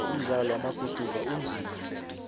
umdlalo wama guduva unzima tle